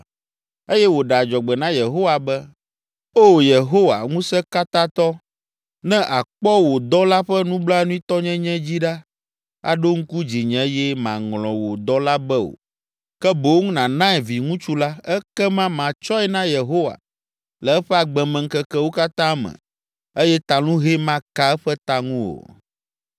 eye wòɖe adzɔgbe na Yehowa be, “O Yehowa Ŋusẽkatãtɔ, ne àkpɔ wò dɔla ƒe nublanuitɔnyenye dzi ɖa, aɖo ŋku dzinye eye màŋlɔ wò dɔla be o, ke boŋ nànae viŋutsu la, ekema matsɔe na Yehowa le eƒe agbemeŋkekewo katã me eye talũhɛ maka eƒe ta ŋu o.”